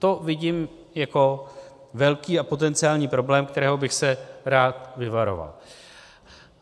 To vidím jako velký a potenciální problém, kterého bych se rád vyvaroval.